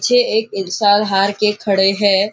पीछे एक इल्सार हार के खड़े है।